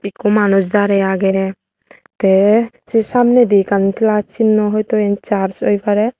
ekko manuj dare agey te se samnendi ekkan clas sinno hoi toin charge oi pare.